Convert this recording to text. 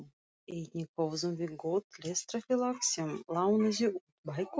Einnig höfðum við gott lestrarfélag sem lánaði út bækur.